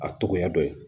A togoya dɔ ye